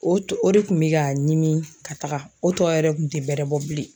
O o de kun bɛ ka ɲimi ka taaga o tɔ yɛrɛ kun tɛ bɛrɛ bɔ bilen.